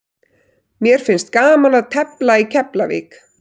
Mér finnst gaman að tefla í Keflavík.